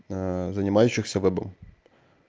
занимающихся вебом